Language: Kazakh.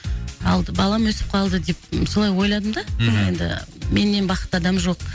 алды балам өсіп қалды деп солай ойладым да мхм мен енді менен бақытты адам жоқ